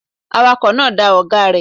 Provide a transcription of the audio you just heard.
Awakọ̀ náà da ọ̀gáa rẹ̀.